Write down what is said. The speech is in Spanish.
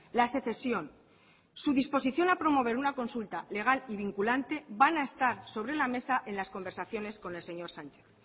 la secesión su disposición a promover una consulta legal y vinculante van a estar sobre la mesa en las conversaciones con el señor sánchez